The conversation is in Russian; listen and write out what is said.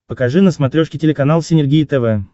покажи на смотрешке телеканал синергия тв